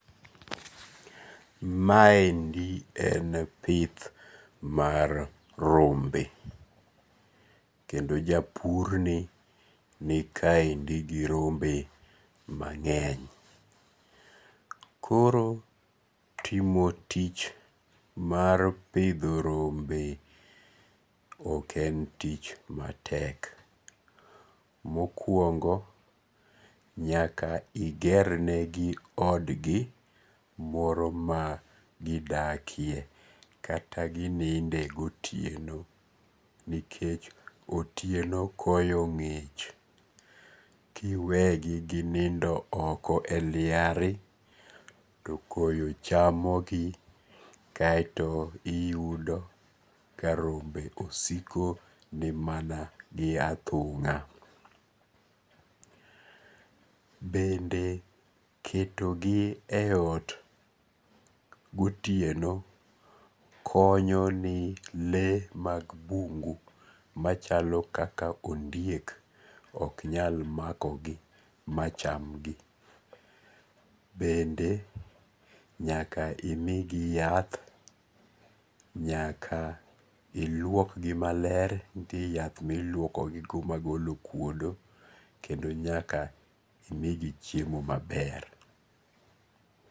Maendi en pith mar rombe, kendo ja purni nikaendi gi rombe mange'ny, koro timo tich mar pitho rombe ok en tich matek, mokuongo' nyaka igernegi odgi moro ma dakie kata gininde gotieno nikech otieno koyo ngi'ch, kiwegi ginindo oko e liare too koyo chamogi kaeto iyudo ka rombe osiko gi mana gi othunga, bende ketogi e ot gotieno konyo gi le mag bungu kaka ondiek ok nyal makogi machamgi, bende nyaka imigi yath, nyaka ilwokgi maler, nitie yath ma iluokogi magolo okwodo kendo nyaka imigi chiemo maler.